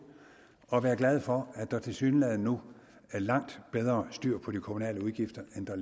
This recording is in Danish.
og være glade for at der tilsyneladende nu er langt bedre styr på de kommunale udgifter end der